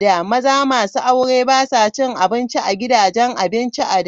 Maza masu aure ba sa cin abinci a gidajen abinci a da.